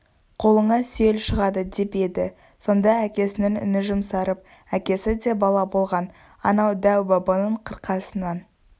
қолыңа сүйел шығады деп еді сонда әкесінің үні жұмсарып әкесі де бала болған анау дәу-бабаның қырқасынан